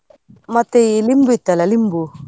ಮತ್ತೆ ಈ ಲಿಂಬು ಇತ್ತಲ್ಲ ಲಿಂಬು.